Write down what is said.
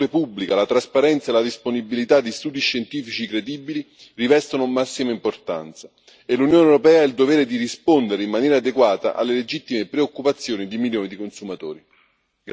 Quando è in gioco la salute pubblica, la trasparenza e la disponibilità di studi scientifici credibili rivestono massima importanza e l'Unione europea ha il dovere di rispondere in maniera adeguata alle legittime preoccupazioni di milioni di consumatori.